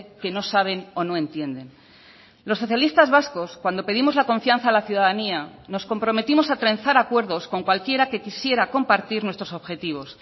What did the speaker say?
que no saben o no entienden los socialistas vascos cuando pedimos la confianza a la ciudadanía nos comprometimos a trenzar acuerdos con cualquiera que quisiera compartir nuestros objetivos